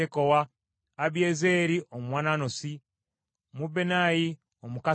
Abiyezeeri Omwanasosi, Mebunnayi Omukusasi,